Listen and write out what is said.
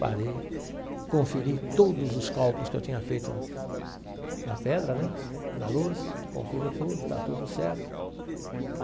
Parei, conferi todos os cálculos que eu tinha feito na pedra né, na lousa, confiro tudo, está tudo certo.